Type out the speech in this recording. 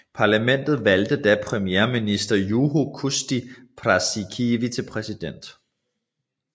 Parlamentet valgte da premierminister Juho Kusti Paasikivi til præsident